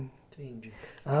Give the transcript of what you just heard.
Entendi.